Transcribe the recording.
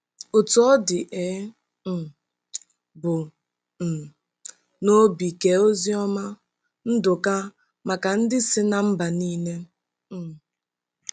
Otú ọ dị, e um bu um n'obi kee Oziọma Nduka maka ndị si ná mba nile um.